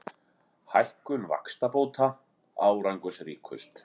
Hækkun vaxtabóta árangursríkust